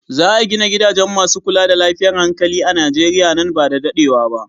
Za a gina gidaje masu kula da lafiyar hankali a Nijeriya nan ba da daɗewa ba.